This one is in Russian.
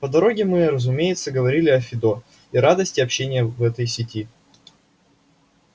по дороге мы разумеется говорили о фидо и радости общения в этой сети